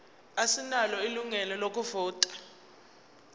asinalo ilungelo lokuvota